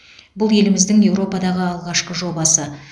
бұл еліміздің еуропадағы алғашқы жобасы